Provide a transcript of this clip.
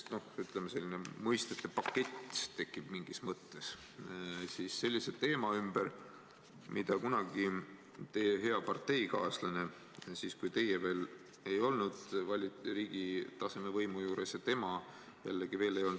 Selline mõistete pakett tekib mingis mõttes sellise teema ümber, millest kunagi teie hea parteikaaslane hästi palju rääkis.